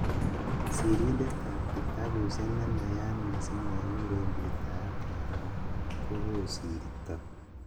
Sirindetab kitabusiek nenayat missing nekikuren Peter Abraham ko kosirto.